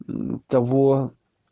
ну того